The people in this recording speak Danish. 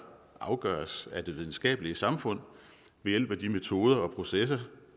afgøres af det videnskabelige samfund ved hjælp af de metoder og processer